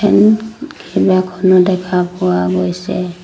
ফেন কেইবাখনো দেখা পোৱা গৈছে।